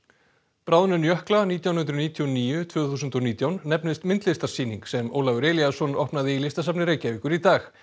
bráðnun jökla nítján hundruð níutíu og níu tvö þúsund og nítján nefnist myndlistarsýning sem Ólafur Elíasson opnaði í Listasafni Reykjavíkur í dag